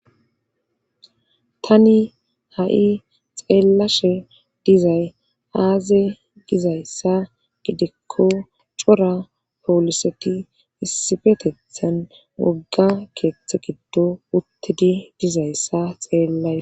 tani ha7i xeellashe dizay aaze gizayssa gidikko cora pooliseti issifetethan wogga keeththe giddo uttidi dizayssa xeellays